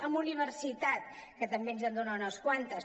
en universitat que també ens en dona unes quantes